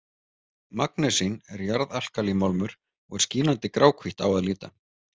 Magnesín er jarðalkalímálmur og er skínandi gráhvítt á að líta.